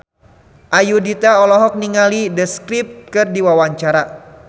Ayudhita olohok ningali The Script keur diwawancara